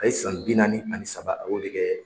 A ye san bi naani ani saba ,a y'o de kɛ